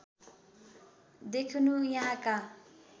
देखिनु यहाँका